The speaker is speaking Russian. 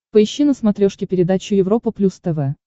поищи на смотрешке передачу европа плюс тв